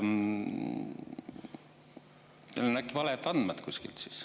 Teil on äkki valed andmed kuskilt siis.